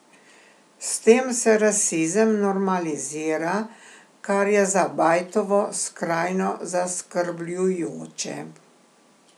S tem se rasizem normalizira, kar je za Bajtovo skrajno zaskrbljujoče.